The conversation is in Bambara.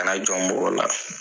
Kana jɔn mɔgɔ la